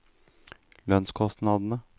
lønnskostnadene